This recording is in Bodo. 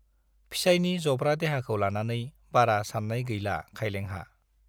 फिसाइनि जब्रा देहाखौ लानानै बारा सान्नाय गेला खाइलेंहा।